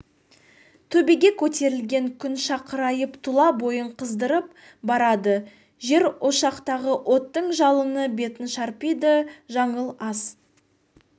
төбеге көтерілген күн шақырайып тұла бойын қыздырып барады жер ошақтағы оттың жалыны бетін шарпиды жаңыл ас